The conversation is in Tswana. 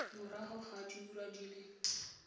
morago ga diura di le